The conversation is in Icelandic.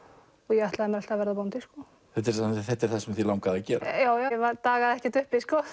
ég ætlaði mér alltaf að verða bóndi sko þetta er þetta er það sem þig langaði að gera já já ég dagaði ekkert uppi